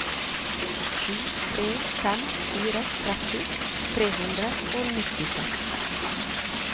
sju tre fem fire tretti tre hundre og nittiseks